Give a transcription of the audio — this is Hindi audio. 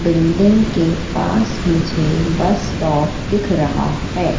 बिल्डिंग के पास मुझे बस स्टॉप दिख रहा है।